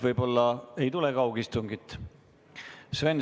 Võib-olla kaugistungit ei tulegi.